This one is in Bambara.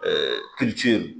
Ɛɛ